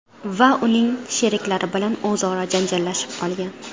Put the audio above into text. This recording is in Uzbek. va uning sheriklari bilan o‘zaro janjallashib qolgan.